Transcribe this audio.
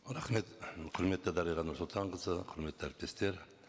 рахмет құрметті дариға нұрсұлтанқызы құрметті әріптестер